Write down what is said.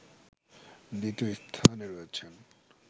দ্বিতীয় স্থানে রয়েছেন